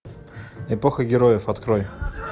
эпоха героев открой